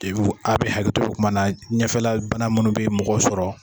Abɛ hakɛ to kuma na, ɲɛfɛla bana minnu bɛ mɔgɔ sɔrɔ